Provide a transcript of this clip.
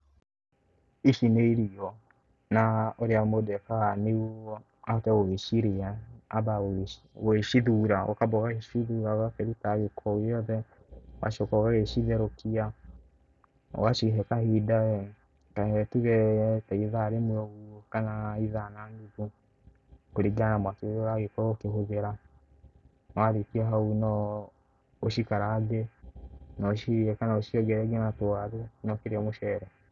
Ici nĩ irigo na ũrĩa mũndũ ekaga nĩ guo ahote gũgĩcirĩa ambaga gũgĩcithura, ũkamba ũgagĩcithura ũkaruta gĩko gĩothe. Ũgacoka ũgagĩcitherũkia ũgacihe kahinda wee ta reke tuge ta ithaa rĩmwe ũguo kana ithaa na nuthu, kũringana na mwaki ũrĩa ũragĩkorwo ũkĩhũthĩra. Warĩkia hau no ũcikarange na ũcige kana ũciongerere ngina tũwaru na ũkirĩe mũcere.